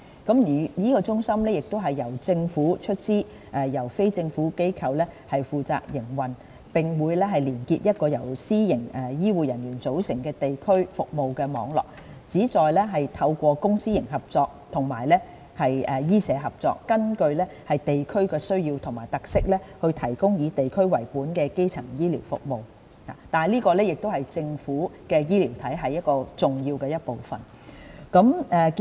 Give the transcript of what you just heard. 康健中心將由政府出資，由非政府機構負責營運，並會連結一個由私營醫護人員組成的地區服務網絡，旨在透過公私營合作和醫社合作，根據地區需要和特色提供以地區為本的基層醫療服務，這是政府醫療體系重要的一部分。